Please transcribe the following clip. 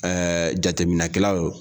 jateminɛkɛlaw.